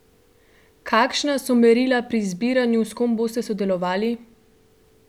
Kakšna so merila pri izbiranju, s kom boste sodelovali?